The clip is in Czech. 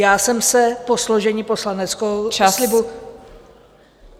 Já jsem se po složení poslaneckého slibu...